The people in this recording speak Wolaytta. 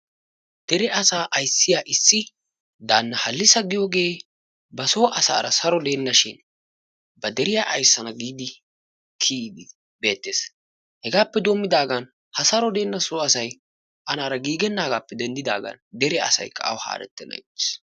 Dere asaa ayssiyaa issi daanna haallisa giyoogee ba soo asaara saro dennashin ba deriyaa ayssana giidi kiyiidi beettees. Hegaappe doommidaagan ha saaro deenna soo asay anaara giigennaagappe denddigaan dere asaykka awu haarettenan ixiis.